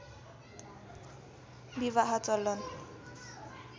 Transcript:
विवाह चलन